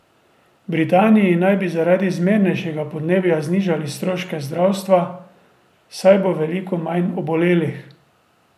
V Britaniji naj bi zaradi zmernejšega podnebja znižali stroške zdravstva, saj bo veliko manj obolelih.